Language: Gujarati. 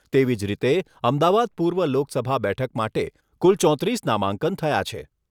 તેવી જ રીતે અમદાવાદ પૂર્વ લોકસભા બેઠક માટે કુલ ચોત્રીસ નામાંકન થયા છે.